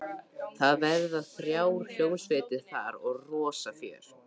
Það verða þrjár hljómsveitir þar og rosa fjör.